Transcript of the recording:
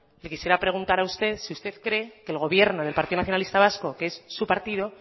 yo le quisiera preguntar a usted si usted cree el gobierno del partido nacionalista vasco que es su partido